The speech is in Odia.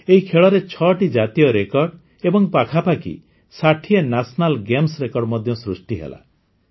ଏହି ଖେଳରେ ୬ଟି ଜାତୀୟ ରେକର୍ଡ଼ ଏବଂ ପାଖାପାଖି ୬୦ ନ୍ୟାସନାଲ ଗେମ୍ସ ରେକର୍ଡ ମଧ୍ୟ ସୃଷ୍ଟି ହେଲା